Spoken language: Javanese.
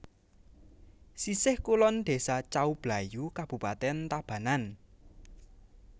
Sisih kulon Désa Cau Blayu kabupatèn Tabanan